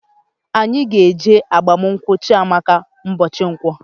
Anyị ga eje agbamunkwu Chiamaka mbochi Nkwo